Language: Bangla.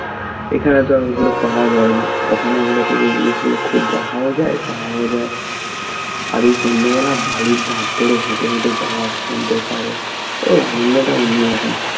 এখানে তো আর ওগুলো পাওয়া যায় না ওখানে গেলে তবু এই জিনিসগুলো খুব দেখাও যায় পাওয়াও যায় আর এই সন্ধ্যেবেলা বালির ধার ধরে হেঁটে হেঁটে যাওয়া সমুদ্রের পাড়ে ওর আনন্দটা অন্যরকম